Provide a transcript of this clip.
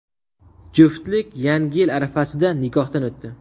Juftlik yangi yil arafasida nikohdan o‘tdi.